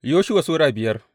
Yoshuwa Sura biyar